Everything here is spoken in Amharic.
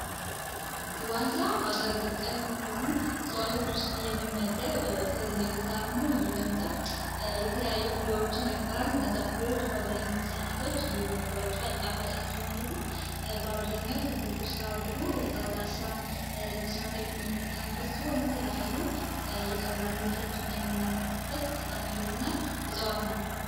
ዋንዛ ሀገር በቀል ከሆኑ የሚመደብ ትልቅ ዛፍ ነው ይህም ዛፍ የተለያዩ ፍሬዎችን ያፈራል እነዛን ፍሬዎች በአብዛኛው ህጻናቶች የመግባቸዋል ጣፋጭ ናቸው ማለት ነው በአብዛኛው ትልቁ ስራው ደግሞ ለመስራት ጠቀመበት ሲሆን የተለያዩ ምርቶችን የምናመጡበት ጠቃሚ የሆነ እጽዋት ነው